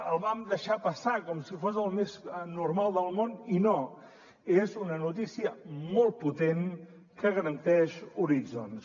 el vam deixar passar com si fos el més normal del món i no és una notícia molt potent que garanteix horitzons